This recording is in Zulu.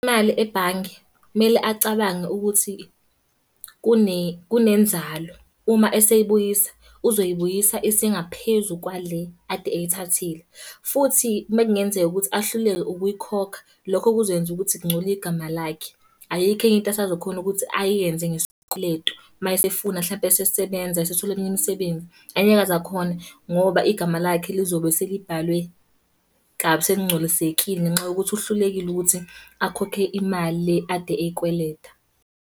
Imali ebhange, kumele acabange ukuthi kunenzalo. Uma eseyibuyisa, uzoyibuyisa isingaphezu kwale ade eyithathile. Futhi uma kungenzeka ukuthi ahluleke ukuyikhokha, lokho kuzoyenza ukuthi kungcole igama lakhe. Ayikho enye into asazokhona ukuthi ayenze ngesikweletu, uma esefuna hlampe esesebenza esethole eminye imisebenzi. Angeke aze akhone, ngoba igama lakhe lizobe selibhalwe kabi, selingcolisekile ngenxa yokuthi uhlulekile ukuthi akhokhe imali le ade eyikweleta.